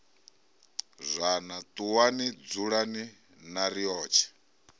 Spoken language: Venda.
zwana ṱuwani dzulani na riotshe